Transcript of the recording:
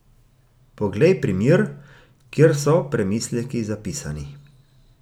Poglej primer, kjer so premisleki zapisani.